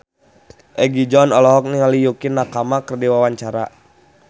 Egi John olohok ningali Yukie Nakama keur diwawancara